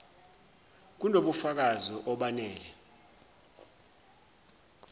kuno bufakazi obanele